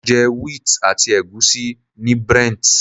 Mo jẹ wheat àti ègúsí ní Brent.